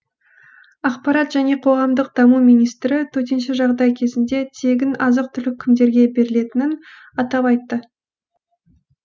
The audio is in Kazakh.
ақпарат және қоғамдық даму министрі төтенше жағдай кезінде тегін азық түлік кімдерге берілетінін атап айтты